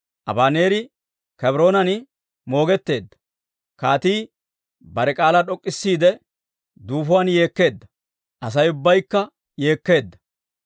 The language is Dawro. Abaneeri Kebroonan moogetteedda; kaatii bare k'aalaa d'ok'k'isiide duufuwaan yeekkeedda; Asay ubbaykka yeekkeedda.